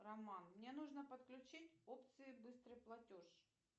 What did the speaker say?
роман мне нужно подключить опции быстрый платеж